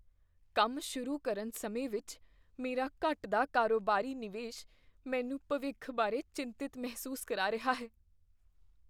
ਕੰਮ ਸ਼ੁਰੂ ਕਰਨ ਸਮੇਂ ਵਿੱਚ ਮੇਰਾ ਘਟਦਾ ਕਾਰੋਬਾਰੀ ਨਿਵੇਸ਼ ਮੈਨੂੰ ਭਵਿੱਖ ਬਾਰੇ ਚਿੰਤਤ ਮਹਿਸੂਸ ਕਰਾ ਰਿਹਾ ਹੈ।